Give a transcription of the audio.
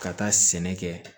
Ka taa sɛnɛ kɛ